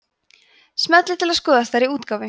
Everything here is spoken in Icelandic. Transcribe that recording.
smellið til að skoða stærri útgáfu